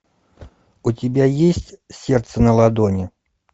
у тебя есть сердце на ладони